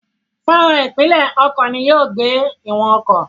Fọ́nrán ìpìlẹ̀ ọkọ̀ ni yóò gbé ìwọ̀n ọkọ̀.